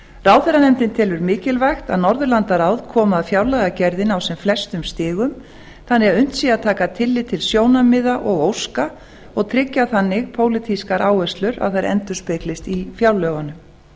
ráðherranefndin telur mikilvægt að norðurlandaráð komi að fjárlagagerðinni á sem flestum stigum þannig að unnt sé að taka tillit til sjónarmiða og óska og tryggja þannig pólitískar áherslur að þær endurspeglist í fjárlögunum